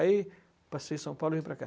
Aí passei São Paulo e vim para cá.